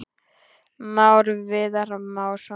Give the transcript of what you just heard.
Már Viðar Másson.